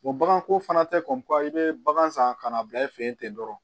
baganko fana tɛ kɔn i bɛ bagan san ka n'a bila i fɛ yen ten dɔrɔn